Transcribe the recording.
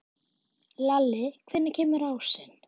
Lalli, hvenær kemur ásinn?